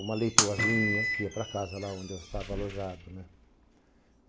Uma leitoazinha, que ia para casa lá onde eu estava alojado, né?